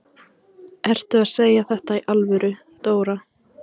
Ertu að segja þetta í alvöru, Dóra?